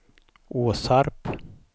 Åsarp